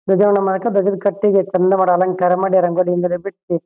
ಯಲ್ಲ ಸೆರ್ಕೆಂದು ಹಬ್ಬಾನಾ ಆಚರಣೆ ಮಾಡ್ಬೇಕಾದ್ರೆ ಖುಷಿ ವಿಷಯ.